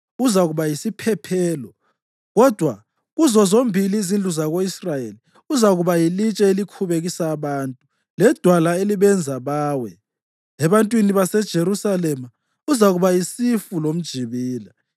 Uzakuba yisiphephelo; kodwa kuzo zombili izindlu zako-Israyeli uzakuba yilitshe elikhubekisa abantu ledwala elibenza bawe. Ebantwini baseJerusalema uzakuba yisifu lomjibila.